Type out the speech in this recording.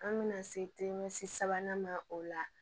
An bɛna se sabanan ma o la